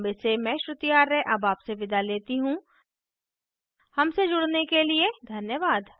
यह स्क्रिप्ट प्रभाकर द्वारा अनुवादित है आई आई टी बॉम्बे से मैं श्रुति आर्य अब आपसे विदा लेती हूँ हमसे जुड़ने के लिए धन्यवाद